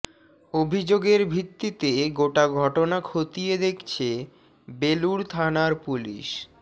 অভিযোগের ভিত্তিতে গোটা ঘটনা খতিয়ে দেখছে বেলুড় থানার পুলিশ